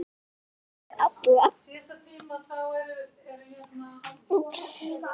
Kyssti ég þær allar.